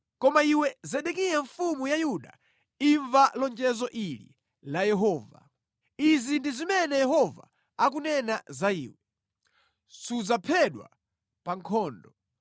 “Koma iwe Zedekiya mfumu ya Yuda, imva lonjezo ili la Yehova. Izi ndi zimene Yehova akunena za iwe: Sudzaphedwa pa nkhondo;